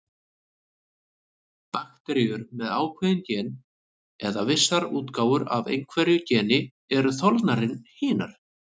Bakteríur með ákveðin gen, eða vissar útgáfur af einhverju geni, eru þolnari en hinar.